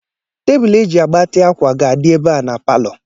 Tebụlụ eji agbatị ákwà ga-adị ebe a na palọ.